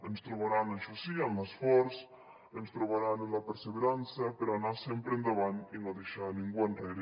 ens trobaran això sí en l’esforç ens trobaran en la perseverança per anar sempre endavant i no deixar ningú enrere